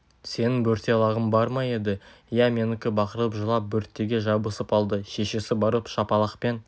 сенің бөрте лағың бар ма еді иә менікі бақырып жылап бөртеге жабысып алды шешесі барып шапалақпен